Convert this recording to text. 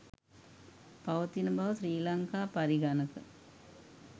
පවතින බව ශ්‍රී ලංකා පරිගණක